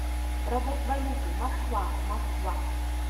продать валюту москва москва